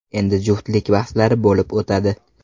Endi juftlik bahslari bo‘lib o‘tadi.